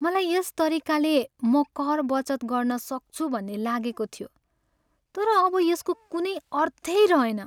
मलाई यस तरिकाले म कर बचत गर्न सक्छु भन्ने लागेको थियो, तर अब यसको कुनै अर्थै रहेन।